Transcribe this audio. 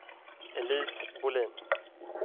Elise Bolin